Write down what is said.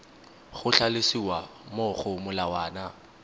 go tlhalosiwa mo go molawana